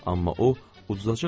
Amma o udacaq axı.